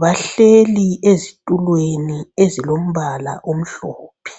,bahleli ezitulweni ezilombala omhlophe